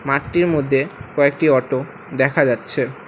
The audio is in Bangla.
মাঠটির মধ্যে কয়েকটি অটো দেখা যাচ্ছে।